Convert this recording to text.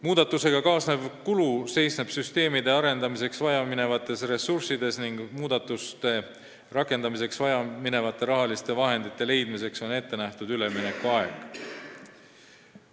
Muudatusega kaasnev kulu seisneb süsteemide arendamiseks vaja minevates ressurssides ning muudatuste rakendamiseks vaja mineva raha leidmiseks on ette nähtud üleminekuaeg.